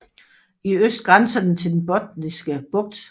I øst grænser den til Den Botniske Bugt